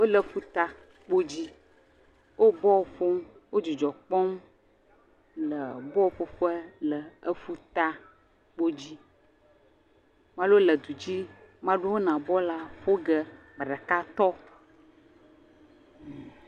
Wole ƒuta kpodzi, wo bɔl ƒom, wo dzidzɔ kpɔm le bɔlƒoƒe le ƒuta kpodzi. Mea ɖewo le du dzi, mea ɖewo yina bɔlua ƒo ge. Ame ɖeka tɔ.